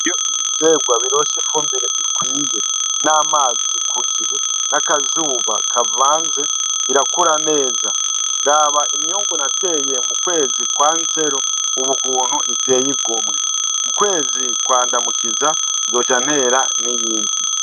Iyo ibiterwa bironse ifumbire ikwiye n'amazi ku gihe n'akazuba kavanze, irakura neza. Raba imyungu nateye mu kwezi kwa Nzero ubu ukuntu iteye igomwe, mu kwezi kwa Ndamukiza nzoca ntera n'iyindi.